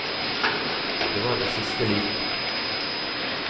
Og det var i siste liten.